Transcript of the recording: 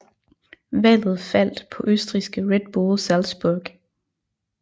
Valget faldt på østrigske Red Bull Salzburg